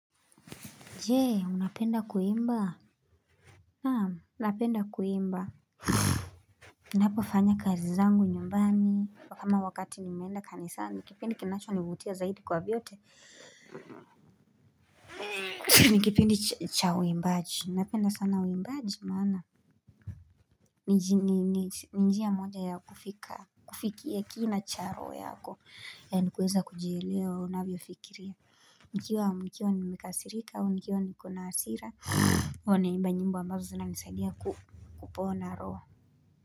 Jee unapenda kuimba? Napenda kuimba ninapo fanya kazi zangu nyumbani, kama wakati nimeenda kanisani ni kipindi kinacho nivutia zaidi kwa vyote. Nikipindi cha uimbaji, napenda sana uimbaji maana ni njia moja ya kufika, kufikia kina cha roho yako na kuweza kujielewa unavyo fikiria nikiwa amkio nimekasirika au nikiwa nikona hasira huwa naimba nyimbo ambazo zinanisaidia kupona roho.